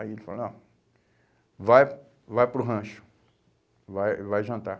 Aí ele falou, não, vai, vai para o rancho, vai, vai jantar.